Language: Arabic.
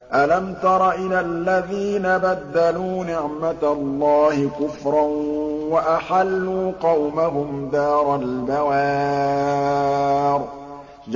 ۞ أَلَمْ تَرَ إِلَى الَّذِينَ بَدَّلُوا نِعْمَتَ اللَّهِ كُفْرًا وَأَحَلُّوا قَوْمَهُمْ دَارَ الْبَوَارِ